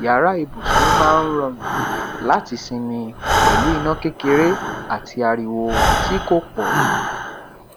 yàrá ibùsùn máa n rọrùn láti sinmi pẹlu iná kékeré àti ariwo ti ko pọ